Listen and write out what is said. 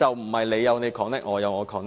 而非你有你 connect， 我有我 connect。